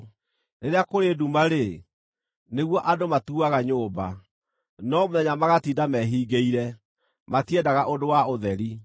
Rĩrĩa kũrĩ nduma-rĩ, nĩguo andũ matuaga nyũmba, no mũthenya magatinda mehingĩire; matiendaga ũndũ wa ũtheri.